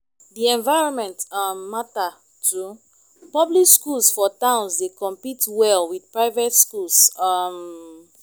di environment um matter too public schools for towns dey compete well with private schools um